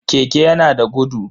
Keke yana da gudu.